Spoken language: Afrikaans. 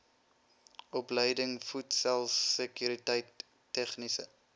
opleiding voedselsekuriteit tegniese